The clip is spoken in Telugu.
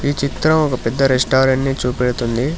ఈ చిత్రం ఒక పెద్ద రెస్టారెంట్ ని చూపెడుతుంది.